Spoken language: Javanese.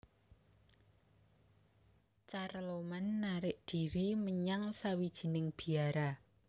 Carloman narik dhiri menyang sawijining biara